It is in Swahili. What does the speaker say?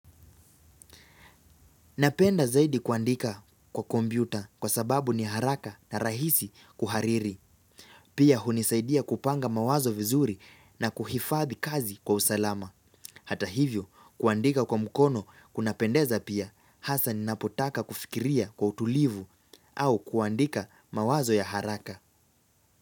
Ninapenda zaidi kuandika kwa kompyuta kwa sababu ni haraka na rahisi kuhariri. Pia hunisaidia kupanga mawazo vizuri na kuhifadhi kazi kwa usalama. Hata hivyo kuandika kwa mkono kunapendeza pia hasa ninapotaka kufikiria kwa utulivu au kuandika mawazo ya haraka.